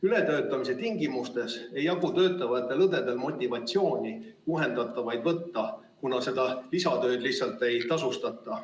Ületöötamise tingimustes ei jagu töötavatel õdedel motivatsiooni juhendatavaid võtta, kuna seda lisatööd lihtsalt ei tasustata.